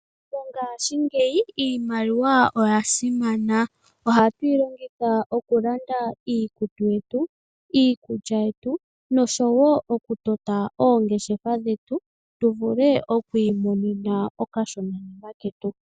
Mongashingeyi iimaliwa oya simana. Ohatu yi longitha okulanda iikutu yetu, iikulya yetu noshowo okutota oongeshefa dhetu tu vule okwiimonena okashonanima ketu.